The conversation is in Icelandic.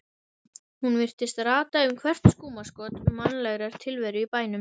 Hún virtist rata um hvert skúmaskot mannlegrar tilveru í bænum.